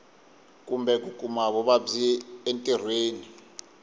kumbe ku kuma vuvabyi entirhweni